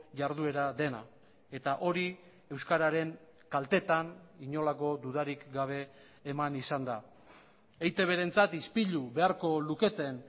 jarduera dena eta hori euskararen kaltetan inolako dudarik gabe eman izan da eitbrentzat ispilu beharko luketen